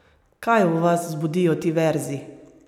Kaj v vas vzbudijo ti verzi?